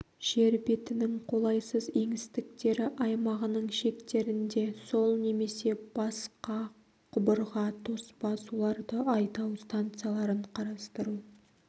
жер бетінің қолайсыз еңістіктері аймағының шектерінде сол немесе басқа құбырға тоспа суларды айдау станцияларын қарастыру